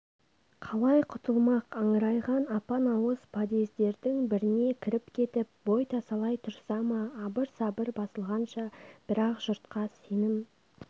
қалай құтылмақ аңырайған апан ауыз подъездердің біріне кіріп кетіп бой тасалай тұрса ма абыр-сабыр басылғанша бірақ жұртқа сенім